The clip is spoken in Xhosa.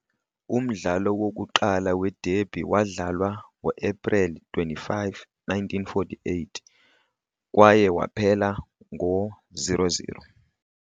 Umdlalo wokuqala wederby wadlalwa ngoAprili 25, 1948, kwaye waphela ngo-0 - 0.